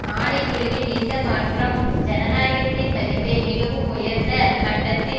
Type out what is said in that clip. ஆணை குழுவின் இந்த மாற்றம் ஜனநாயகத்தின் மதிப்பை மிகவும் உயர்ந்த மட்டத்தில்